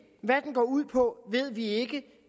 hvad den går ud på ved vi ikke